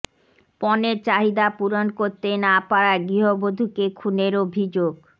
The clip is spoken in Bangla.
পণের চাহিদা পূরণ করতে না পারায় গৃহবধুকে খুনের অভিযোগ